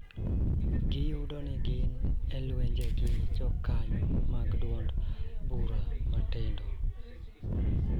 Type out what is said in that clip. Giyudo ni gin e lweny gi jokanyo mag duond bura ma tindo